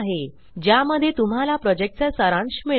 ज्या मध्ये तुम्हाला प्रोजेक्ट चा सारांश मिळेल